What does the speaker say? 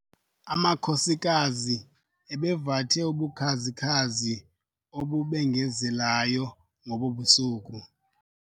Amakhosikazi ebevathe ubukhazi-khazi obubengezelayo ngobo busuku.